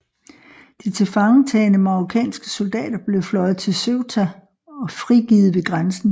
De tilfangetagne marokkanske soldater blev fløjet til Ceuta og frigivet ved grænsen